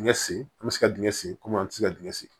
Dingɛ sen an bɛ se ka dingɛ sen kɔmi an tɛ se ka dingɛ sen